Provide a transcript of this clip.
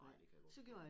Ej det kan jeg godt forstå